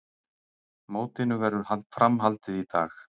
Mótinu verður fram haldið í dag